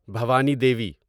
Bhavani Devi